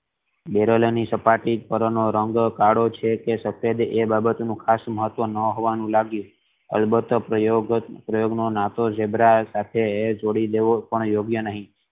Barrel ની સપાટી પર નો રંગ કાળો છે કે સફેદ એ બાબત નું ખાશ મહત્વ ન હોવાનું લાગિયું અલબત્ત પ્રયોગ નો નાટો ઝીબ્રા સાથે જોડી દેવો યોગ્ય નહિ.